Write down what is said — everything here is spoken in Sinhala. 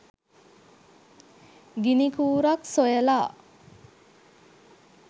ගිනිකූරක් සොයලා